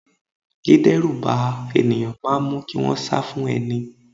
Dideruba ènìyàn máa mu kí wọn sá fún ẹni.